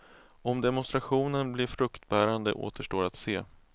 Om demonstrationen blir fruktbärande återstår att se.